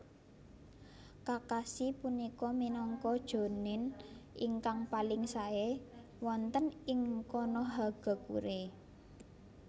Kakashi punika minangka Jounin ingkang paling sae wonten ing Konohagakure